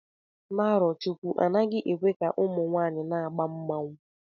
Na Arochukwu, anaghị ekwe ka ụmụ nwanyị na-agba egwu mmanwụ